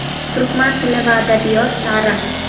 Turkman tili va adabiyot, Tarix.